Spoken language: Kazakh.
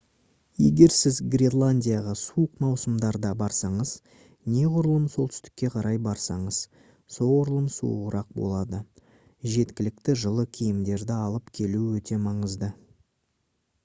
егер сіз гренландияға суық маусымдарда барсаңыз неғұрлым солтүстікке қарай барсаңыз соғұрлым суығырақ болады жеткілікті жылы киімдерды алып келу өте маңызды